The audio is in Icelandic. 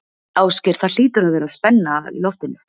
Ásgeir, það hlýtur að vera spenna á í loftinu?